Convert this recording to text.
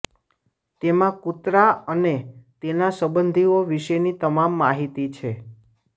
તેમાં કૂતરા અને તેના સંબંધીઓ વિશેની તમામ માહિતી છે